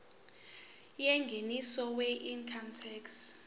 yengeniso weincome tax